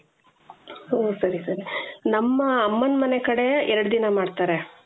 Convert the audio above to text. ಓ ಸರಿ ಸರಿ ಸರಿ ನಮ್ಮ ಅಮ್ಮನ ಮನೆ ಕಡೆ ಎರಡು ದಿನ ಮಾಡ್ತಾರೆ.